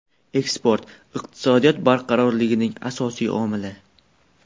Eksport – iqtisodiyot barqarorligining asosiy omili.